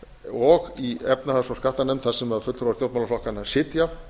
og í efnahags og skattanefnd þar sem fulltrúar stjórnmálaflokkanna sitja